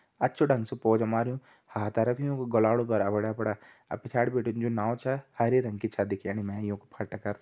अच्छु ढंग से पोचा मारयूं हाथा रख्युं गलाड़ू पर अपड़ा-अपड़ा अर पिछाड़ी बिटी जू नाव छ हरे रंग की छ दिखेणी मैं यू फट कर।